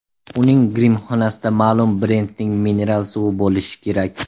Uning grimxonasida ma’lum brendning mineral suvi bo‘lishi kerak.